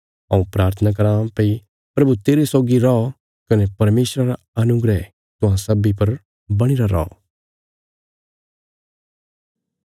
हऊँ प्राथना कराँ भई प्रभु तेरे सौगी रौ कने परमेशरा रा अनुग्रह तुहां सब्बीं पर बणीरा रौ